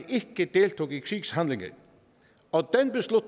ikke deltog i krigshandlinger og